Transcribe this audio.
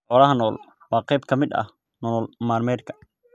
Xoolaha nool waa qayb ka mid ah nolol maalmeedka.